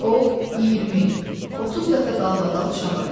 O 20-30 dəfə dalbadal çağırdı.